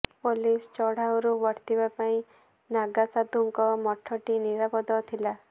police ଚଢ଼ାଉରୁ ବର୍ତିବା ପାଇଁ ନାଗା ସାଧୁଙ୍କ ମଠଟି ନିରାପଦ ଥିଲା